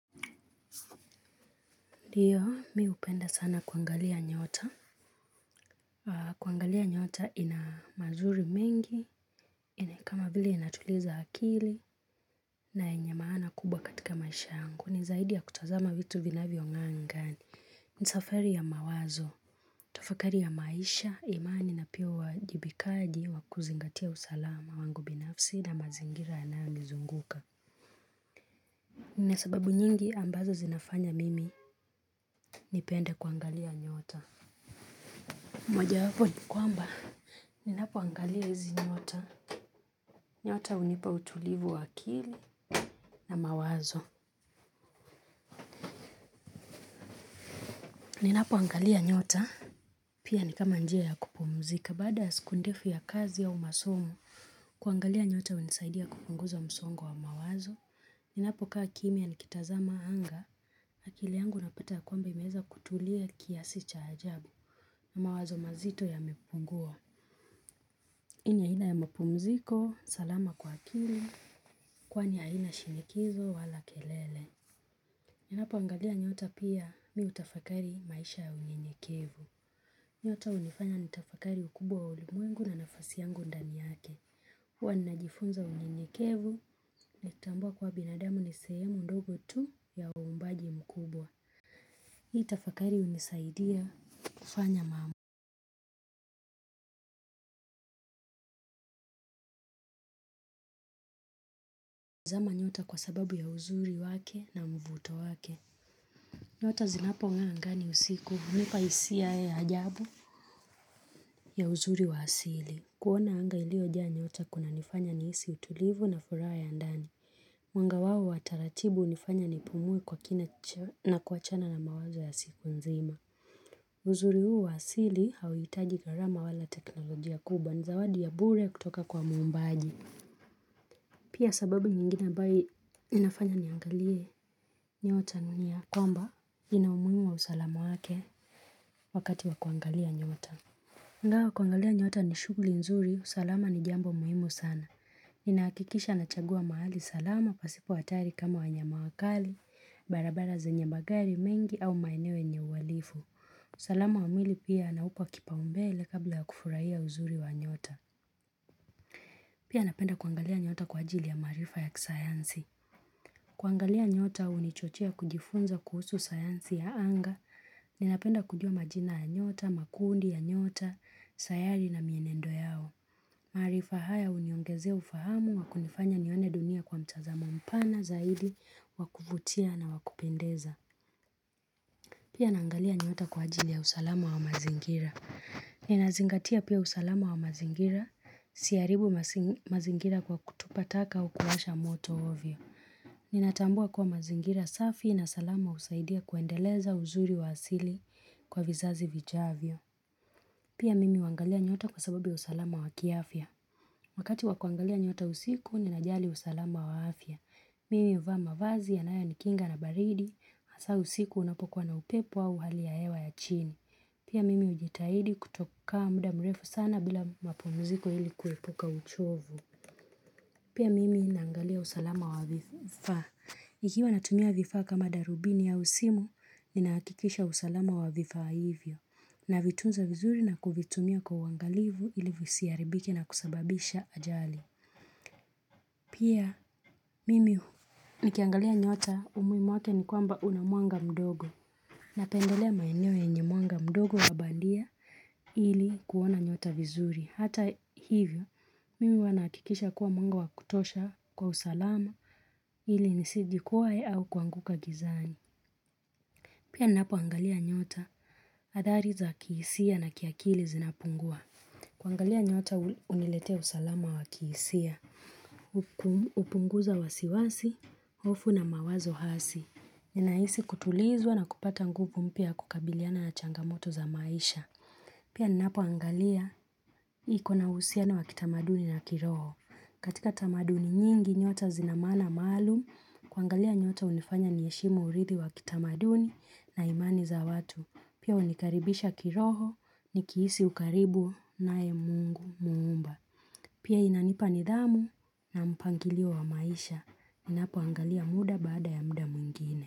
Ndiyo, mi hupenda sana kuangalia nyota. Kuangalia nyota ina mazuri mengi, kama vile inatuliza akili, na yenye maana kubwa katika maisha yangu. Ni zaidi ya kutazama vitu vinavyo ng'aa angani. Ni safari ya mawazo, tafakari ya maisha, imani na pia uajibikaji wa kuzingatia usalama wangu binafsi na mazingira yanayonizunguka. Ni sababu nyingi ambazo zinafanya mimi, nipenda kuangalia nyota. Mojawapo ni kwamba, ninapoangalia hizi nyota. Nyota hunipa utulivu wa akili na mawazo. Ninapo angalia nyota. Pia ni kama njia ya kupumzika. Baada ya siku ndefu ya kazi ya au masomo, kuangalia nyota hunisaidia kupunguza msongo wa mawazo. Ninapokaa kimya nikitazama anga, akili yangu napata ya kwamba imeza kutulia kiasi cha ajabu na mawazo mazito yamepungua. Hii ni aina ya mapumziko, salama kwa akili, kwani haina shinikizo wala kelele. Ninapoangalia nyota pia mi hutafakari maisha ya unyenyekevu. Nyota hunifanya nitafakari ukubwa wa ulimwengu na nafasi yangu ndani yake. Huwa ninajifunza unyenyekevu nikitambua kuwa binadamu ni sehemu ndogo tu ya uumbaji mkubwa. Hii tafakari hunisaidia kufanya maamuzi. Zama nyota kwa sababu ya uzuri wake na mvuto wake. Nyota zinapong'aa angani usiku hunipa hisia ya ajabu ya uzuri wa asili. Kuona anga iliojaa nyota kunanifanya nihisi utulivu na furaha ya ndani. Mwanga wao wa taratibu hunifanya nipumue kwa kina na kuachana na mawazo ya siku nzima. Uzuri huu wa asili hauhitaji gharama wala teknolojia kubwa ni zawadi ya bure kutoka kwa muumbaji. Pia sababu nyingine ambayo inafanya niangalie nyota ni ya. Kwamba, ina umuhimu wa usalama wake wakati wa kuangalia nyota. Ingawa, kuangalia nyota ni shughuli nzuri, usalama ni jambo muhimu sana. Ninahakikisha nachagua mahali salama pasipo hatari kama wanyama wakali, barabara zenye magari mengi au maeneo yenye uhalifu. Usalama wa mwili pia naupa kipaumbele kabla ya kufurahia uzuri wa nyota. Pia napenda kuangalia nyota kwa ajili ya maarifa ya kisayansi. Kuangalia nyota hunichochea kujifunza kuhusu sayansi ya anga. Ninapenda kujua majina ya nyota, makundi ya nyota, sayari na mienendo yao. Maarifa haya huniongezea ufahamu wa kunifanya nione dunia kwa mtazamo mpana zaidi wa kuvutia na wakupendeza. Pia naangalia nyota kwa ajili ya usalama wa mazingira. Ninazingatia pia usalama wa mazingira, siharibu mazingira kwa kutupa taka au kuwasha moto ovyo. Ninatambua kuwa mazingira safi na salama husaidia kuendeleza uzuri wa asili kwa vizazi vijavyo. Pia mimi huangalia nyota kwa sababu ya usalama wa kiafya. Wakati wa kuangalia nyota usiku, ninajali usalama wa afya. Mimi huvaa mavazi, yanayonikinga na baridi hasa usiku unapokuwa na upepo au hali ya hewa ya chini. Pia mimi hujitahidi kutokaa muda mrefu sana bila mapumziko ili kuepuka uchovu. Pia mimi naangalia usalama wa vifaa. Ikiwa natumia vifaa kama darubini au simu, ninahakikisha usalama wa vifaa hivyo. Navitunza vizuri na kuvitumia kwa uangalifu ili visiharibike na kusababisha ajali. Pia, mimi huu, nikiangalia nyota umuhimu wake ni kwamba una mwanga mdogo. Napendelea maeneo yenye mwanga mdogo wa bandia ili kuona nyota vizuri. Hata hivyo, mimi huwa nahakikisha kuwa mwanga wa kutosha kwa usalama ili nisijikwae au kuanguka gizani. Pia ninapoangalia nyota, athari za kihisia na kiakili zinapungua. Kuangalia nyota, huniletea usalama wa kihisia. Hupunguza wasiwasi, hofu na mawazo hasi. Ninahisi kutulizwa na kupata nguvu mpya ya kukabiliana na changamoto za maisha. Pia ninapoangalia ikona uhusiano wa kitamaduni na kiroho. Katika tamaduni nyingi nyota zina maana maalum, kuangalia nyota hunifanya niheshimu urithi wa kitamaduni na imani za watu. Pia hunikaribisha kiroho, nikihisi ukaribu naye mungu muumba. Pia inanipa nidhamu na mpangilio wa maisha. Ninapoangalia muda baada ya muda mwingine.